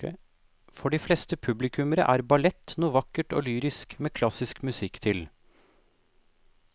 For de fleste publikummere er ballett noe vakkert og lyrisk med klassisk musikk til.